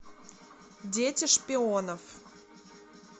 дети шпионов